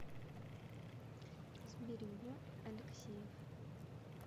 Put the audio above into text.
сберегу алексеев